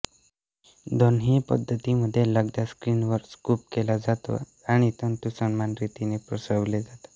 दोन्ही पद्धतींमध्ये लगदा स्क्रीनवर स्कूप केला जातो आणि तंतू समान रीतीने पसरवले जातात